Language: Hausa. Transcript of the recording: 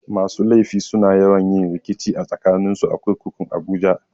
Masu laifi suna yawan rikici tsakanin su a kurkukun abuja.